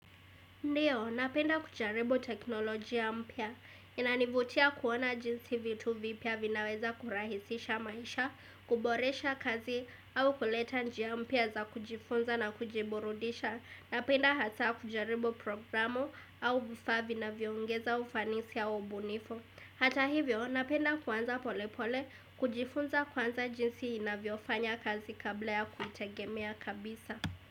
Ndiyo, napenda kujaribo teknoloji ya mpya. Inanivutia kuona jinsi vitu vipia vinaweza kurahisisha maisha, kuboresha kazi au kuleta njia mpia za kujifunza na kujiburudisha. Napenda hasa kujaribo programu au vifaa vina viongeza ufanisi ya ubunifu. Hata hivyo, napenda kuanza polepole, kujifunza kuanza jinsi inavyofanya kazi kabla ya kuitegemea kabisa.